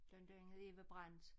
Blandt andet Eva Brandt